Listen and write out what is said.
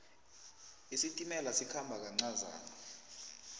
isitimela sikhamba kancazana